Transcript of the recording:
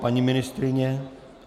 Paní ministryně?